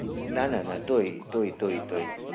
ના ના ના તોય તોય તોય તોય